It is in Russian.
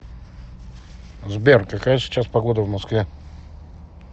сбер какая сейчас погода в москве